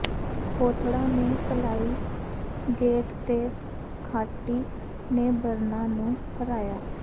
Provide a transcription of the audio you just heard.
ਖੋਥੜਾ ਨੇ ਪਲਾਹੀ ਗੇਟ ਤੇ ਖਾਟੀ ਨੇ ਬਰਨਾ ਨੂੰ ਹਰਾਇਆ